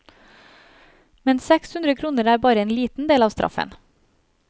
Men sekshundre kroner er bare en liten del av straffen.